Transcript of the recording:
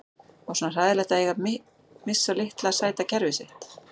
Var svona hræðilegt að eiga að missa litla sæta kerfið sitt?